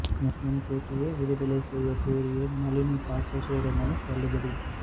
முன்கூட்டியே விடுதலை செய்ய கோரிய நளினி தாக்கல் செய்த மனு தள்ளுபடி